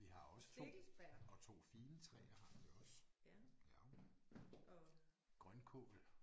Vi har også 2 og 2 figentræer har vi også ja grøntkål